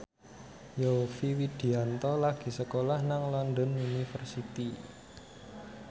Yovie Widianto lagi sekolah nang London University